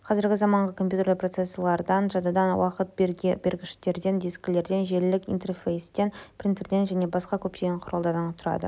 қазіргі заманғы компьютерлер процессорлардан жадыдан уақыт бергіштерден дискілерден желілік интерфейстен принтерден және басқа көптеген құралдардан тұрады